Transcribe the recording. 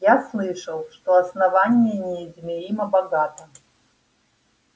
я слышал что основание неизмеримо богато